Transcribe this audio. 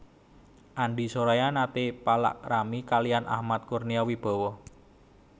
Andi Soraya nate palakrami kaliyan Ahmad Kurnia Wibawa